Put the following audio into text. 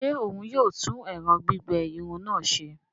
Ṣe òún yóò tún ẹrọ gbigbẹ Irun náà ṣe?